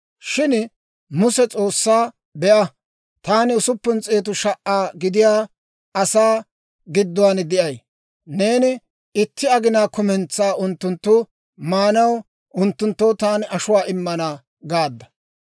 Shin Muse S'oossaa, «Be'a, taani usuppun s'eetu sha"a gidiyaa asaa gidduwaan de'ay; neeni, ‹Itti aginaa kumentsaa unttunttu maanaw unttunttoo taani ashuwaa immana› gaadda.